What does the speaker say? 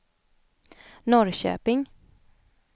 Norrköping